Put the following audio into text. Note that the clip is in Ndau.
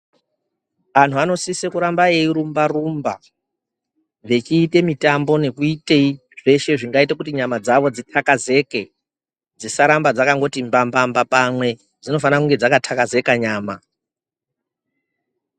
Anhu anosise kuramba eyirumba rumba vechiita mitambo nekuitei zveshe zvingaite kuti nyama dzawo dzitakazeke dzisaramba dzakangoti mbambamba pamwe, dzinofana kunge dzakatakazeka nyama.